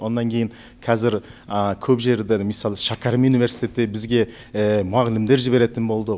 онан кейін кәзір көп жердер мысалы шәкәрім университеті бізге мұғалімдер жіберетін болды